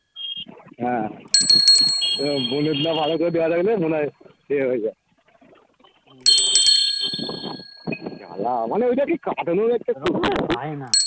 হ্যাঁ এবার bonnet না ভালো করে দেওয়া থাকলে মনে হয় এ হয়ে যায় কি জ্বালা মানে ওইটা ঠিক কাটানোর একটা